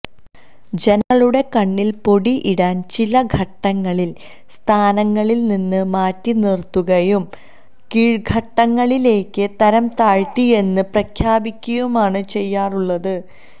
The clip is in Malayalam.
ജനങ്ങളുടെ കണ്ണില്പൊടിയിടാന് ചില ഘട്ടങ്ങളില് സ്ഥാനങ്ങളില് നിന്ന് മാറ്റി നിര്ത്തുകയും കീഴ്ഘടകങ്ങളിലേക്ക് തരംതാഴ്ത്തിയെന്ന് പ്രഖ്യാപിക്കുകയുമാണ് ചെയ്യാറുളളത്